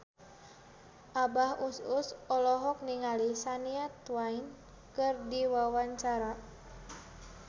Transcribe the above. Abah Us Us olohok ningali Shania Twain keur diwawancara